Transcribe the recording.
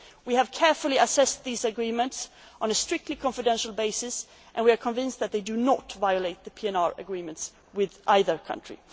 across the border. We have carefully assessed these agreements on a strictly confidential basis and we are convinced that they do not violate the PNR agreements